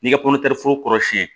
N'i ka kɔntɛforo kɔrɔsiyɛn